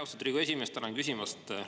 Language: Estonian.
Austatud Riigikogu esimees, tänan küsimast!